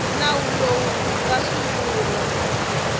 nawu lowu wu nga sungula